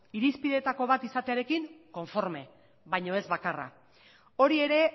irizpideetako bat izatearekin konforme baina ez bakarra hori ere